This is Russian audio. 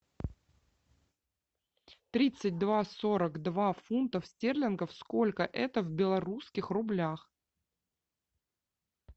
тридцать два сорок два фунтов стерлингов сколько это в белорусских рублях